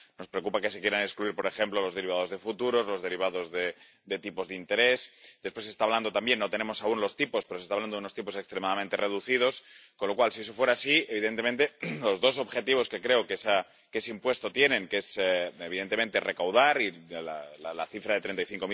Nos preocupa que se quieran excluir por ejemplo los derivados de futuros, los derivados de tipos de interés. Después se está hablando también —no tenemos aún los tipos, pero se está hablando— de unos tipos extremadamente reducidos, con lo cual, si eso fuera así, evidentemente, los dos objetivos que creo que ese impuesto tiene, que son, evidentemente, recaudar y